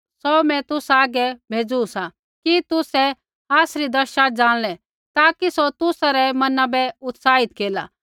सौ मैं तुसा हागै तैबै भेज़ू सा कि तुसै आसरी दशा जाणलै ताकि सौ तुसा रै मना बै उत्साहित केरला